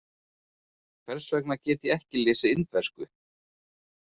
Hversvegna get ég ekki lesið Indversku?